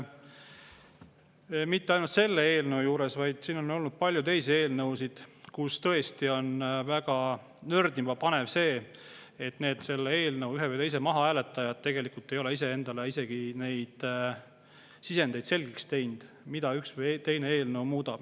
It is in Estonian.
Mitte ainult selle eelnõu kohta, vaid siin on olnud ka palju teisi eelnõusid, mille puhul on väga nördima panev see, et need ühe või teise eelnõu mahahääletajad tegelikult ei ole iseendale selgeks teinud isegi seda sisendit, mida üks või teine eelnõu muudab.